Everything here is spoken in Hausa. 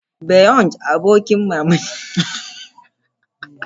Beyoncé, Abin mamaki na duniya wanda aka sani da litattafai irin su "Ladies Single" da "Formation."